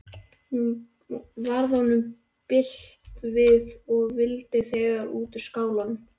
Varð honum bilt við og vildi þegar út úr skálanum.